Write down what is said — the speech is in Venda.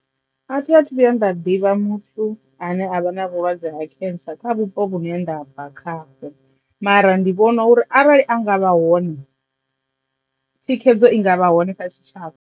A thi a thu vhuya nda ḓivha muthu ane avha na vhulwadze ha khentsa kha vhupo vhu ne ndabva khaho mara ndi vhona uri arali a nga vha hone thikhedzo i nga vha hone kha tshitshavha.